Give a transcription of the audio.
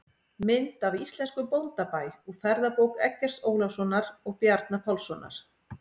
Mynd af íslenskum bóndabæ úr ferðabók Eggerts Ólafssonar og Bjarna Pálssonar.